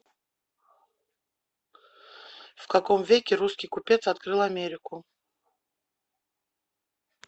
в каком веке русский купец открыл америку